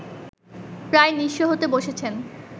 প্রায় নিঃস্ব হতে বসেছেন